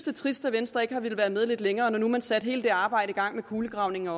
er trist at venstre ikke har villet være med lidt længere når nu man satte hele det arbejde i gang med kulegravningen